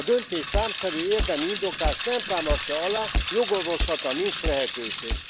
A döntést számszerű, érdemi indoklás nem támasztja alá, jogorvoslatra nincs lehetőség.